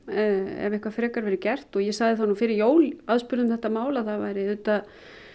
ef eitthvað frekara verður gert og ég sagði það nú fyrir jól aðspurð um þetta mál að það væri auðvitað